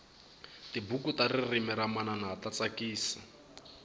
tibuku ta ririmi ra manana ta tsakisa